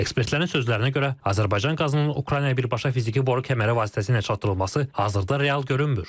Ekspertlərin sözlərinə görə Azərbaycan qazının Ukraynaya birbaşa fiziki boru kəməri vasitəsilə çatdırılması hazırda real görünmür.